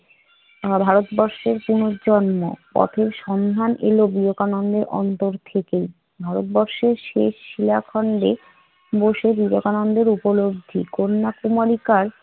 ভারতবর্ষের পুনর্জন্ম? পথের সন্ধান এলো বিবেকানন্দের অন্তর থেকেই। ভারতবর্ষের শেষ শিলাখণ্ডে বসে বিবেকানন্দের উপলব্ধি, কন্যা কুমারীকার